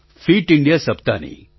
fit India સપ્તાહની